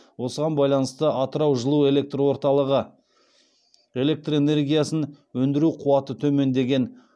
осыған байланысты атырау жылуэлекрорталығы электр энергиясын өндіру қуаты төмендеген